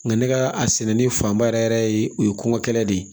Nka ne ka a sɛnɛli fanba yɛrɛ yɛrɛ ye o ye kɔnkɔ kɛlen de ye